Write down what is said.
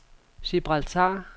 Gibraltar